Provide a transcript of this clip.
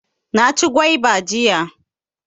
Na ci gwaiba jiya